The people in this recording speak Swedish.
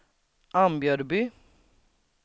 Ambjörby